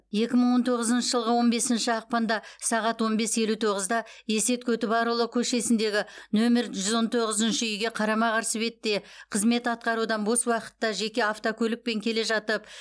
екі мың он тоғызыншы жылғы он бесінші ақпанда сағат он бес елу тоғызда есет көтібарұлы көшесіндегі нөмір жүз он тоғызыншы үйге қарама қарсы бетте қызмет атқарудан бос уақытта жеке автокөлікпен келе жатып